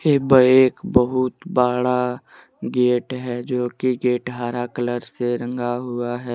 ये बा एक बहुत बड़ा गेट है जो कि गेट हरा कलर से रंगा हुआ है।